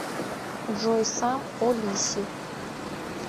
джой сам о лиси